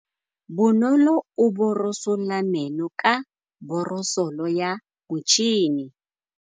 Bonolô o borosola meno ka borosolo ya motšhine.